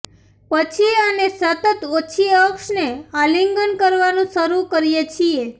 પછી અમે સતત ઓછી અક્ષને આલિંગન કરવાનું શરૂ કરીએ છીએ